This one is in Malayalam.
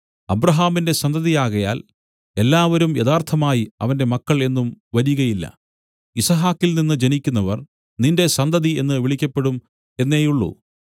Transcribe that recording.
അബ്രാഹാമിന്റെ സന്തതിയാകയാൽ എല്ലാവരും യഥാർത്ഥമായി അവന്റെ മക്കൾ എന്നും വരികയില്ല യിസ്ഹാക്കിൽനിന്നു ജനിക്കുന്നവർ നിന്റെ സന്തതി എന്നു വിളിക്കപ്പെടും എന്നേയുള്ളു